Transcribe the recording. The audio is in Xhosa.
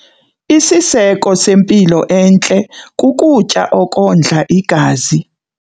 Isiseko sempilo entle kukutya okondla igazi.